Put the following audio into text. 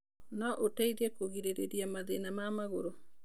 No ũteithie kũrigĩrĩria mathina ma magũrũ.